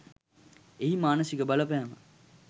එහි මානසික බලපෑම